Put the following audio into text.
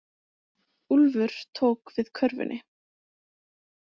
Úlfur tók við körfunni.